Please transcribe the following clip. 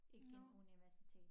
Ikke en universitet